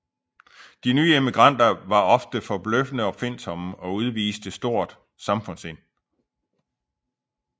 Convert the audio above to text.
De nye immigranter var ofte forbløffende opfindsomme og udviste stort samfundssind